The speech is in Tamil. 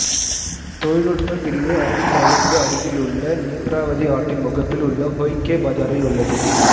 தொழில்நுட்ப பிரிவு அரபிக் கடலுக்கு அருகில் உள்ள நேத்ராவதி ஆற்றின் முகப்பில் உள்ள ஹோய்கே பஜாரில் உள்ளது